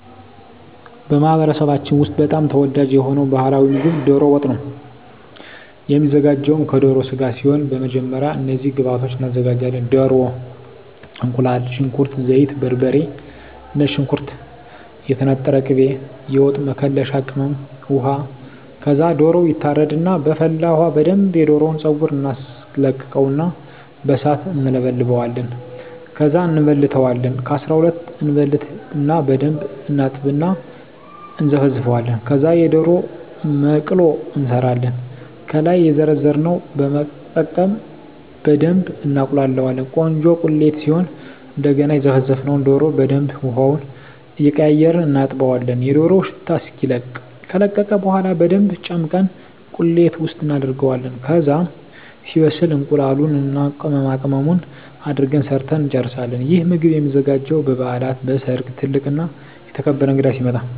በማኅበረሰባችን ውስጥ በጣም ተወዳጅ የሆነው ባሕላዊ ምግብ ደሮ ወጥ ነው የሚዘጋው ከደሮ ስጋ ሲሆን በመጀመሪያ እነዚህን ግብአቶች እናዘጋጃለን። ደሮ፣ እቁላል፣ ሽንኩርት፣ ዘይት፣ በርበሬ፣ ነጭ ሽንኩርት፣ የተነጠረ ቅቤ፣ የወጥ መከለሻ ቅመም፣ ውሃ ከዛ ደሮው ይታረድና በፈላ ውሀ በደንብ የደሮውን ፀጉር እናስለቅቀውና በሣት እንለበልበዋለን። ከዛ እንበልተዋለን ከ12 እበልትና በደንብ እናጥብና እና እነዘፈዝፈዋለን። ከዛ የደሮ መቅሎ እንሠራለን። ከላይ የዘረዘርነውን በመጠቀም በደብ እናቁላላዋለን ቆንጆ ቁሌት ሲሆን እደገና የዘፈዘፍነውን ደሮ በደንብ ውሀውን እየቀያየርን እናጥበዋለን የደሮው ሽታ እስኪለቅ። ከለቀቀ በኋላ በደንብ ጨምቀን ቁሌት ውስጥ እናደርገዋለን። ከዛ ሲበስል እቁላሉን እና ቅመማቅመሙን አድርገን ሠርተን እንጨርሣለን። ይህ ምግብ የሚዘጋጀው በበዓላት፣ በሠርግ፣ ትልቅ እና የተከበረ እንግዳ ሲመጣ።